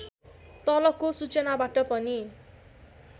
तलको सूचनाबाट पनि